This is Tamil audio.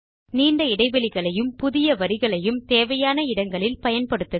நீண்ட இடைவெளிகளையும் புதிய வரிகளையும் தேவையான இடங்களில் பயன்படுத்துக